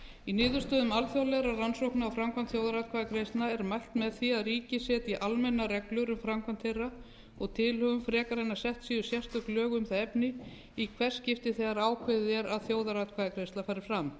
í niðurstöðum alþjóðlegra rannsókna á framkvæmd þjóðaratkvæðagreiðslna er mælt með því að ríki setji almennar reglur um framkvæmd þeirra og tilhögun frekar en að sett séu sérstök lög um það efni í hvert skipti þegar ákveðið er að þjóðaratkvæðagreiðsla fari fram